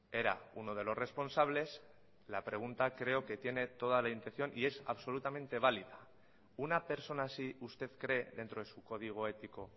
era uno de los responsables la pregunta creo que tiene toda la intención y es absolutamente válida una persona así usted cree dentro de su código ético